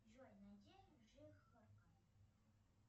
джой найди жихарка